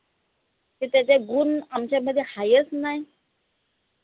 त त्याचा गुन आमच्यामध्ये हायेच नाई